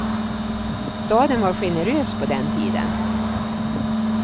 Staten var generös på den tiden.